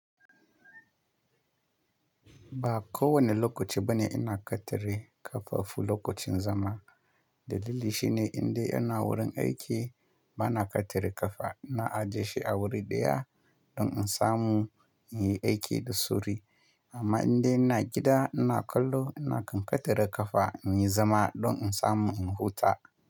Ba ko wane lokaci bane ina katare kafafu lokacin zama. Dalili shine, indai ina wurin aiki, bana katare kafa. Na ajiye shi a wuri ɗaya, don in samu in yi aiki da suri. Amma indai ina gida ina kallo, ina kan katare kafa inyi zama, don in samu in huta.